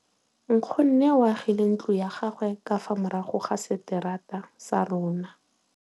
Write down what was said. Nkgonne o agile ntlo ya gagwe ka fa morago ga seterata sa rona.